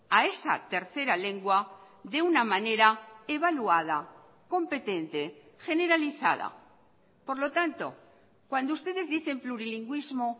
a esa tercera lengua de una manera evaluada competente generalizada por lo tanto cuando ustedes dicen plurilingüismo